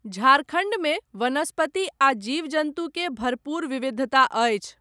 झारखण्डमे वनस्पति आ जीव जन्तु के भरपूर विविधता अछि।